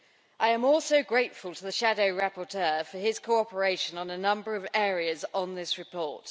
I am also grateful to the shadow rapporteur for his cooperation on a number of areas on this report.